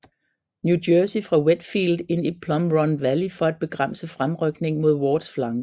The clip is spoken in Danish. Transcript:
New Jersey fra Wheatfield ind i Plum Run Valley for at bremse fremrykningen mod Wards flanke